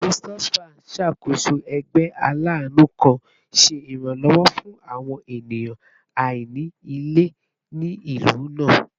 Christopher n ṣakoso ẹgbẹ alaanu kan, ṣe iranlọwọ fun awọn eniyan aini ile ni ilu naa